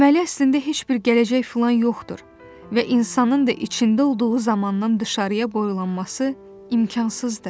Deməli, əslində heç bir gələcək filan yoxdur və insanın da içində olduğu zamandan dışarıya boylanması imkansızdır.